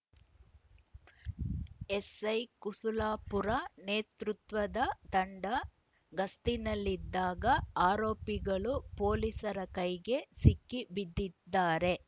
SI Kusulapura ನೇತೃತ್ವದ ತಂಡ ಗಸ್ತಿನಲ್ಲಿದ್ದಾಗ ಆರೋಪಿಗಳು ಪೊಲೀಸರ ಕೈಗೆ ಸಿಕ್ಕಿ ಬಿದ್ದಿದ್ದಾರೆ